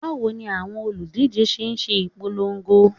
Bawo ni awọn oludije ṣe n ṣe ipolongo?